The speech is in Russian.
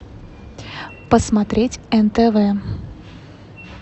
посмотреть нтв